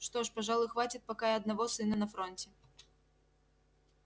что ж пожалуй хватит пока и одного сына на фронте